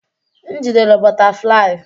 M jidere bọtaflai.